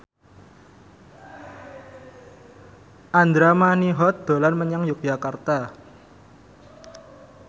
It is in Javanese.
Andra Manihot dolan menyang Yogyakarta